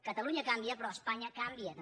catalunya canvia però espanya canvia també